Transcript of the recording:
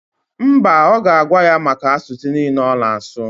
Mba, ọ ga-agwa ya maka asụsụ niile ọ na-asụ.